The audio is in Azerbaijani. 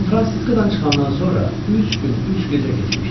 San Franciscodan çıxandan sonra üç gün, üç gecə keçmişdi.